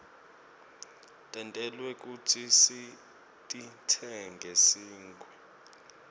tentelwe kutsi sititsenge sigwke